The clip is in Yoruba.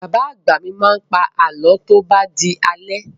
Bàbá-bàbá mi máa ń pa àlọ́ tó bá di alẹ́.